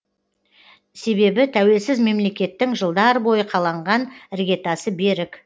себебі тәуелсіз мемлекеттің жылдар бойы қаланған іргетасы берік